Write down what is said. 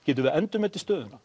getum við endurmetið stöðuna